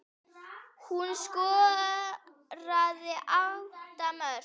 Hún skoraði átta mörk.